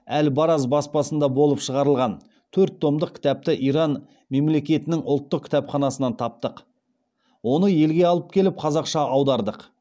әл бараз баспасында болып шығарылған төрт томдық кітапты иран мемлекетінің ұлттық кітапханасынан таптық оны елге алып келіп қазақша аудардық